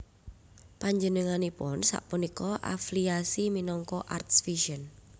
Panjenenganipun sapunika affliasi minangka Arts Vision